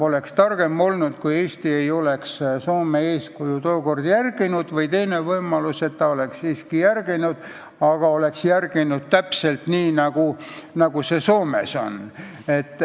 Oleks targem olnud, kui Eesti ei oleks tookord Soome eeskuju järginud, või teine võimalus, et ta oleks siiski järginud, aga oleks teinud täpselt nii, nagu Soomes on.